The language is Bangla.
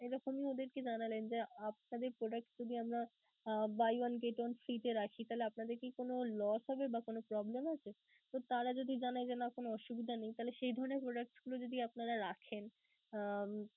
এরকমই ওদেরকে জানালেন যে, আপনাদের products যদি আমরা buy one get one free তে রাখি তাহলে আপনাদের কি কোন lose হবে বা কোন problem আছে? তো তারা যদি জানায় যে না কোন অসুবিধা নেই, তাহলে সেই ধরণের products গুলো যদি আপনারা রাখেন উম